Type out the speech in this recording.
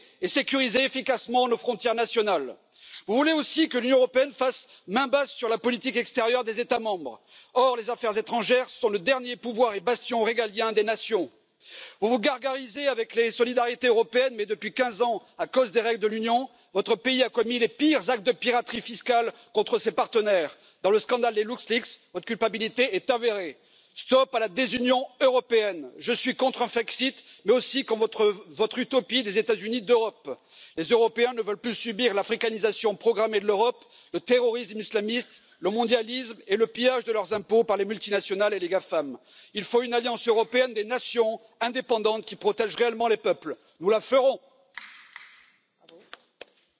the confidence of voters. But many people in many EU Member States feel that the EU has lost its way, that it has failed to deliver on issues such as jobs. It has failed to deliver on their concerns over migration it has failed to deliver on them feeling safer in their home countries, and on the things that they care about. So when politicians here talk about winning back their confidence, it rings hollow to those that are still willing to listen, as they feel that they have heard it all before. I remember only too well in 2014 as President Juncker addressed this Chamber full of freshly elected MEPs, he declared it to be a moment to be a new start for Europe and said that we should play as a team with common policies. Yet voters have seen attempts to push